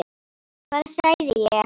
Hvað sagði ég?